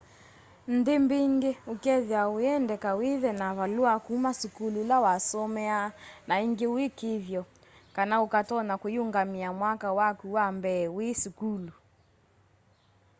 nthi mbingi ũkethiwa ũyendeka withe na valua kuma sukulu ula wasomeaa na ingi ũikiithyo kana ukatonya kuiyungamia mwaka waku wa mbee wi sukulu